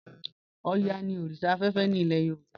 Ọ̀yá ni oríṣà afẹ́fẹ́ ni ilẹ̀ Yorùbá.